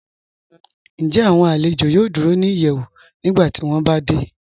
Ǹjẹ́ awọn alẹ̀jọ yòò dúró ni ìyẹ́wù nígbàtí wọn bá dẹ̀?